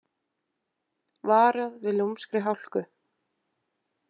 Varað við lúmskri hálku